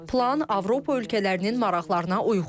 Plan Avropa ölkələrinin maraqlarına uyğundur.